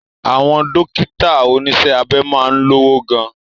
Àwọn Dókítà oníṣẹ́ abẹ máa ń lówó gan